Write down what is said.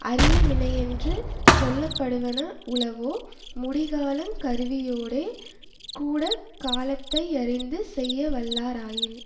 அரிய வினையென்று சொல்ல படுவன உளவோ முடிக்கலாங் கருவியோடே கூட காலத்தை யறிந்து செய்ய வல்லாராயின்